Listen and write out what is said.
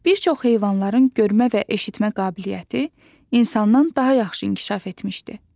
Bir çox heyvanların görmə və eşitmə qabiliyyəti insandan daha yaxşı inkişaf etmişdi.